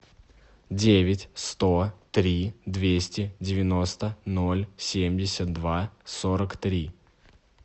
девять сто три двести девяносто ноль семьдесят два сорок три